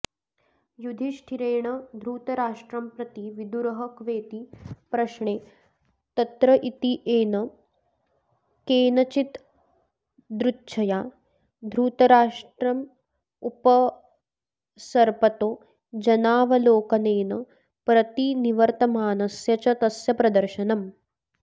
युधिष्ठिरेण धृतराष्ट्रंप्रति विदुरः क्वेति प्रश्ने तत्रत्येन केनचिद्यदृच्छया धृतराष्ट्रमुपसर्पतो जनावलोकनेन प्रतिनिवर्तमानस्य च तस्य प्रदर्शनम्